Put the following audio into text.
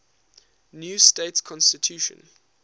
new state constitution